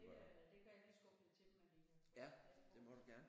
Det det kan jeg lige skubbe lidt til dem at vi kan få sat den på